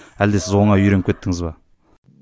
әлде сіз оңай үйреніп кеттіңіз бе